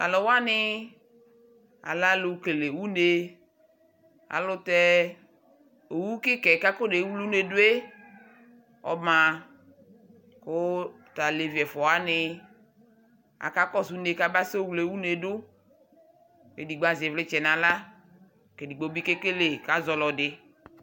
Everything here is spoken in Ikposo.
Tu aluwani alɛ alu kele une Alu tɛ owu kika yɛ ku akɔnewle une du yɛ ɔma ku tu alevi ɛfua wani akakɔsu une kaba sɛ wle une du Ku edigbo azɛ ivlitsɛ nu aɣla ku edigbo bi kekele ku azɔ ɔlɔdi